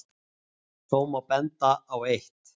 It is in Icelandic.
Þó má benda á eitt.